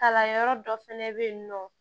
Kalanyɔrɔ dɔ fɛnɛ bɛ yen nɔ